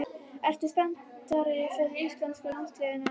Ertu spenntari fyrir íslenska landsliðinu en áður?